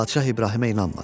Padşah İbrahimə inanmadı.